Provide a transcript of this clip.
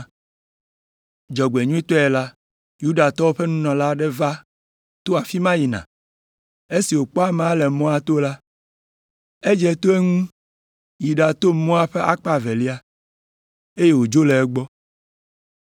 Dzɔgbenyuitɔe la, Yudatɔwo ƒe nunɔla aɖe va to afi ma yina, esi wòkpɔ amea le mɔa to la, edze to eŋu yi ɖato mɔa ƒe akpa evelia, eye wòdzo le egbɔ.